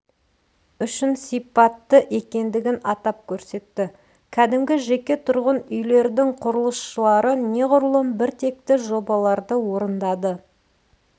үшін сипатты екендігін атап көрсетті кәдімгі жеке тұрғын үйлердің құрылысшылары неғұрлым бір текті жобаларды орындады